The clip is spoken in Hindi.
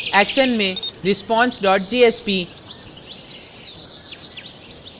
action में response jsp